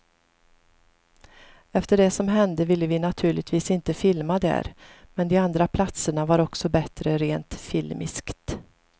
Efter det som hände ville vi naturligtvis inte filma där, men de andra platserna var också bättre rent filmiskt.